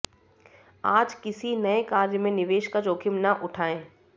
आज किसी नये कार्य में निवेश का जोखिम न उठाएँ